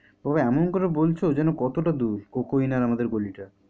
তবে এমন করে বলছো যেন কতোটা দূর coke oven আর আমাদের গলি টা।